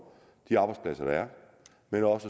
de arbejdspladser der er men også